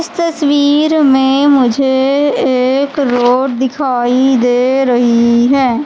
इस तस्वीर में मुझे एक रोड दिखाई दे रही हैं।